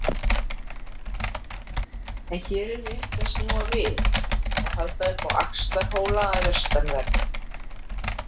En hér er rétt að snúa við og halda upp Axlarhóla að vestanverðu.